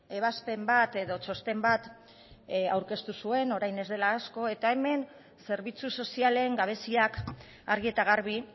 ebazpen bat edo txosten bat aurkeztu zuen orain ez dela asko eta hemen zerbitzu sozialen gabeziak argi eta garbi